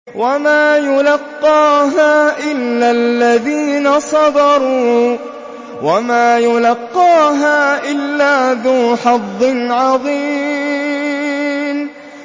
وَمَا يُلَقَّاهَا إِلَّا الَّذِينَ صَبَرُوا وَمَا يُلَقَّاهَا إِلَّا ذُو حَظٍّ عَظِيمٍ